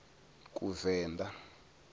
kuvenḓa